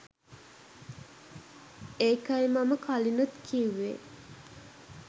ඒකයි මම කලිනුත් කිව්වේ